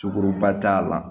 Sogoba t'a la